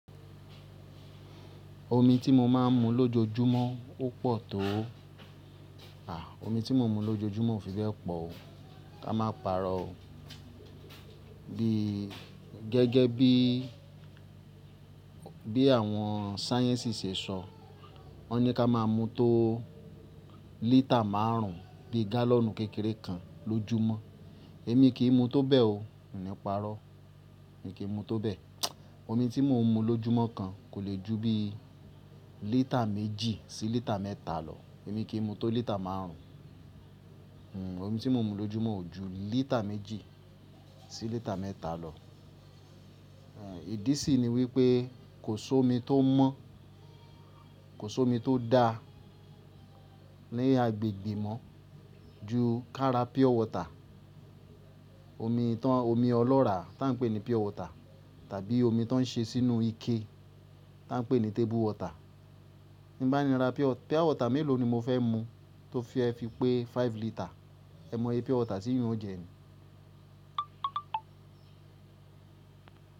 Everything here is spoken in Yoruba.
Omi tí mo máa ń mu lójoojúmọ́ ó pọ̀ tó o. À, omi tí mo ń mu lójoojúmọ́ ò fi bẹ́ẹ̀ pọ̀ o. Ká máa pàrọ́ o. Bí gẹ́gẹ́ bí, bí àwọn sáyẹ́ǹsì ṣe sọ, wọ́n ní ká máa mu tó lítà márùn ún bi gálọ̀nù kékeré kan lójúmọ́. Èmi kì í mu tó bẹ́ẹ̀ o, hùn ní pa'rọ́. Èmi kì í mu tó bẹ́ẹ̀. Omi tí mo ń mu lójúmọ́ kan kò lè ju bí lítà méjì sí lítà mẹ́ta lọ. Èmi kì í mu tó lítà márùn ún. Omi tí mo ń mu lójúmọ́ ò ju lítà méjì sí lítà mẹ́ta lọ. Ìdí sì ni wípé kò sómi tó mọ́, kò sómi tó dá ní agbègbè mọ́ ju kára pure water, omi tàn, omi ọlọ́rà tá ń pè ní pure water tàbí omi tó ń ṣe sínú ike tá ń pè ní table water. Ti n bá ni ra pure water mélòó ni mo fẹ́ mu tó fe fi pé five lítà. Ẹ mọ iye pure water tíyún o jẹ ni.